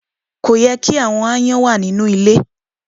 Kò yẹ ki àwọn aáyán ma wà nínú ilẹ